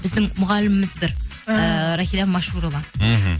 біздің мұғаліміміз бір ііі рахила машурова мхм